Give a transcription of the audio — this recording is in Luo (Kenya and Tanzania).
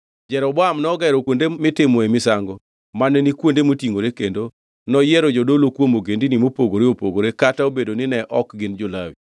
Jeroboam nogero kuonde mitimoe misango mane ni kuonde motingʼore kendo noyiero jodolo kuom ogendini mopogore opogore kata obedo ni ne ok gin jo-Lawi.